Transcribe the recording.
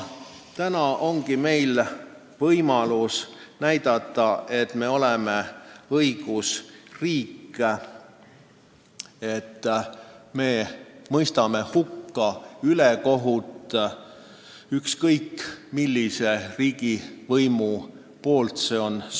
Täna on meil võimalus näidata, et me oleme õigusriik, et me mõistame hukka ülekohtu, ükskõik milline riigivõim selles süüdi on.